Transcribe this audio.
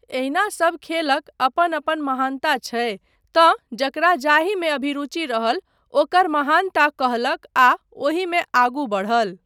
एहिना सबखेलक अपन अपन महानता छै तँ जकरा जाहिमे अभिरुचि रहल ओकर महानता कहलक आ ओहिमे आगू बढ़ल।